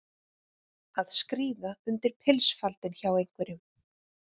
Að skríða undir pilsfaldinn hjá einhverjum